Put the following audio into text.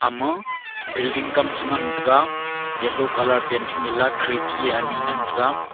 ma bilding kam chengan taiga yellow colour painting yela khidki ani ngan taiga.